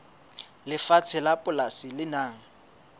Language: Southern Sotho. lefatshe la polasi le nang